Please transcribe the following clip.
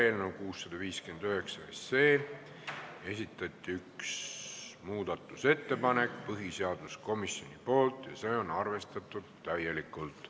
Eelnõu 659 kohta esitati üks muudatusettepanek põhiseaduskomisjonilt ja see on täielikult arvestatud.